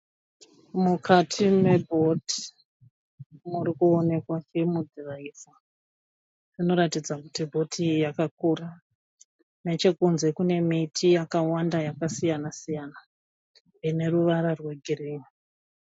Mukati mebhoti murikuwonekwa chimudhiraivho. Zvinoratidza kuti bhoti iyi yakakura. Nechekunze kunemiti yakawanda yakasiyana-siyana ineruvara rwegirini.